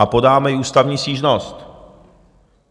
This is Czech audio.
A podáme i ústavní stížnost.